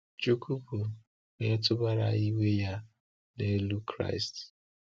Chúkwú bụ́ Onye tụbara iwe Ya n’elu Kraịst.